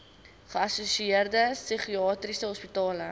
geassosieerde psigiatriese hospitale